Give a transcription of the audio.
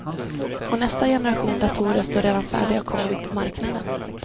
Och nästa generation datorer står redan färdiga att komma ut på marknaden.